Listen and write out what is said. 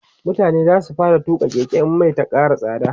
mutane zasu fara tuƙa Keke in Mai Ta Kara tsada